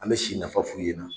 An bɛ si nafa f'u ye na